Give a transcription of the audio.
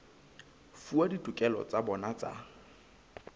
fuwa ditokelo tsa bona tsa